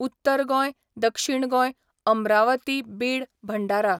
उत्तर गोंय ,दक्षिण गोंय ,अम्रावती बीड भंडारा